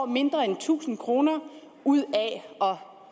mindre end tusind kroner ud af at